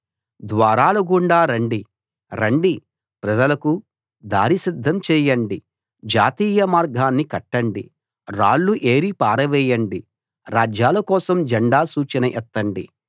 ద్వారాల గుండా రండి రండి ప్రజలకు దారి సిద్ధం చేయండి జాతీయ మార్గాన్ని కట్టండి రాళ్ళు ఏరి పారవేయండి రాజ్యాల కోసం జండా సూచన ఎత్తండి